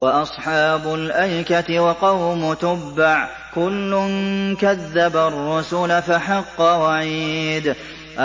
وَأَصْحَابُ الْأَيْكَةِ وَقَوْمُ تُبَّعٍ ۚ كُلٌّ كَذَّبَ الرُّسُلَ فَحَقَّ وَعِيدِ